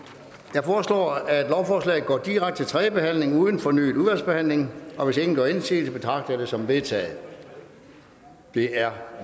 jeg foreslår at lovforslaget går direkte til tredje behandling uden fornyet udvalgsbehandling hvis ingen gør indsigelse betragter jeg det som vedtaget det er